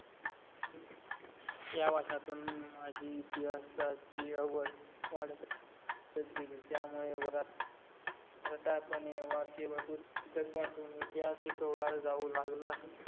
या वाचनातून माजी इतिहासाची आवढ वाढतच गेली त्यामुळे वर्गात रटाळ पणे वाक्य व पुस्तक वाचून इतिहास शिकव्हळ जाऊ लागला.